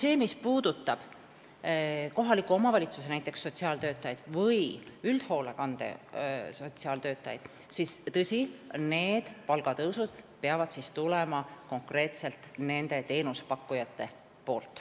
Aga mis puudutab näiteks kohaliku omavalitsuse või üldhoolekande sotsiaaltöötajaid, siis on tõsi, et nende palga tõus peab tulema konkreetselt nendega seotud teenusepakkujatelt.